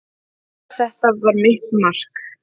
Ég veit að þetta var mitt mark.